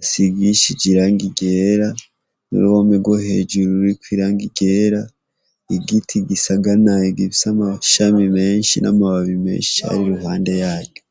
risigishije irangi ryera, n'uruhome ryo hejuru ririko irangi ryera, n'igiti gisanagaye gifise amashami menshi n'amababi menshi ari iruhande yaryo.